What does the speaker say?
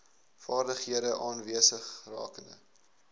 vaardighede aanwesig rakende